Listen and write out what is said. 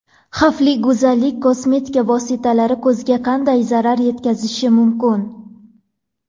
Xavfli go‘zallik: kosmetika vositalari ko‘zga qanday zarar yetkazishi mumkin?.